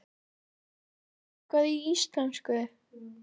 Kanntu eitthvað í íslensku?